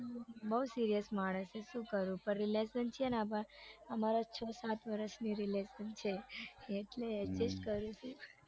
બઉ serious માણસ છે શું કરું પણ relation છે ને અમારા છ સાથ વરસની relation છે એટલે એટલે જ કરું છું